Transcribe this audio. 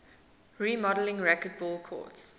remodeled racquetball courts